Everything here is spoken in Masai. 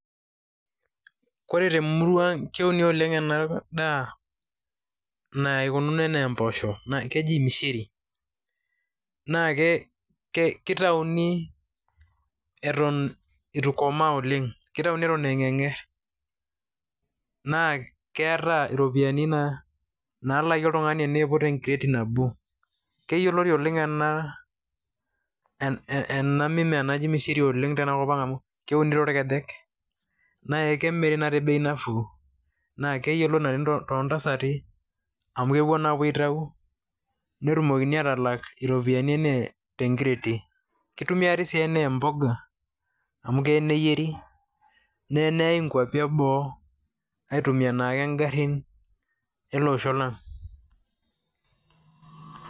Kore te murua ang' keuni oleng' ena daa naikununo enaa mbosho keji mishiri naake ke kitauni eton itu ikomaa oleng' kitauni eton a ng'erng'er, naa keeta iropiani na naalaki oltung'ani eniiput enkireti nabo. Keyoloti oleng' ena ena mimea naji mishiri amu keuni oleng' torkejek nae kemiri naa te bei nafuu naa keyoloti oleng' to ntasati amu kepuo naa apuo aitau netumokini atalak iropiani enee te nkireti. Kitumiari sii ene mboga amu ee neyeri, nee eneyai nkuapi e boo aitumia naake ng'arin ele osho lang'.